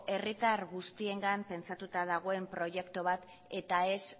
herritar guztiengan pentsatuta dagoen proiektu bat eta ez